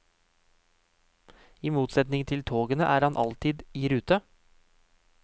I motsetning til togene, er han alltid i rute.